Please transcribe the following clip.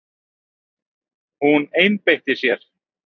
Hún einbeitti sér.